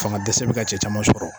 Fanga dɛsɛ be ka cɛ caman sɔrɔ.